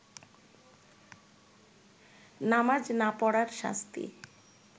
নামাজ না পড়ার শাস্তি